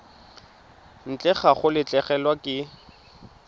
ntle ga go latlhegelwa ke